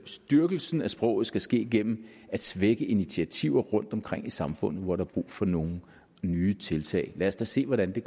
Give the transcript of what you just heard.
styrkelsen af sproget skal ske gennem at svække initiativer rundtomkring i samfundet hvor der er brug for nogle nye tiltag lad os da se hvordan det